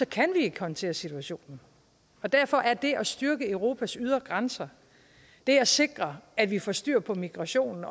kan vi ikke håndtere situationen og derfor er det at styrke europas ydre grænser det at sikre at vi får styr på migrationen